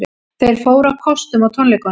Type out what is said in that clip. Þeir fóru á kostum á tónleikunum